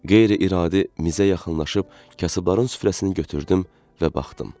Qeyri-iradi mizə yaxınlaşıb kasıbların süfrəsini götürdüm və baxdım.